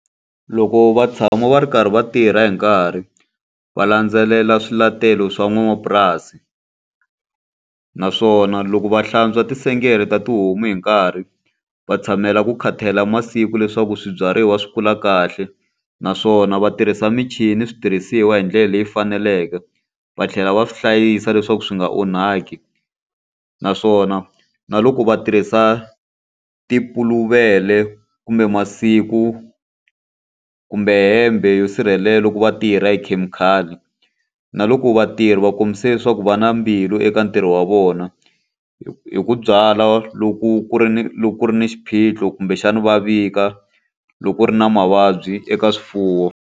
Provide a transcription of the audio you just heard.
Loko va tshama va ri karhi va tirha hi nkarhi, va landzelela swiletelo swa n'wanamapurasi. Naswona loko va hlantswa tintsengele ta tihomu hi nkarhi, va tshamela ku khatalela masiku leswaku swibyariwa swi kula kahle, naswona va tirhisa michini switirhisiwa hi ndlela leyi faneleke, va tlhela va swi hlayisa leswaku swi nga onhaki. Naswona na loko va tirhisa ti puluvele kumbe masiku, kumbe hembe yo sirhelela loko va tirha hi khemikhali. Na loko vatirhi va kombise leswaku va na mbilu eka ntirho wa vona, hi hi ku byala loko ku ri ni loko ku ri ni xiphiqo kumbexana va vika loko ku ri na mavabyi eka swifuwo.